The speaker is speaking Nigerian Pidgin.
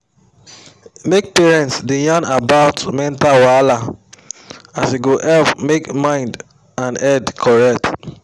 make parents da yan about mental wahala as e go help make mind and head correct